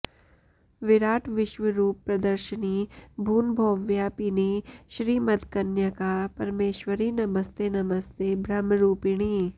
विराट् विश्वरूप प्रदर्शिनि भूनभोव्यापिनि श्रीमद्कन्यका परमेश्वरि नमस्ते नमस्ते ब्रह्मरूपिणि